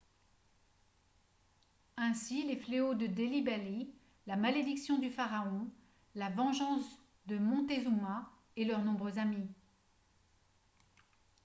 ainsi les fléaux de delhi belly la malédiction du pharaon la vengeance de montezuma et leurs nombreux amis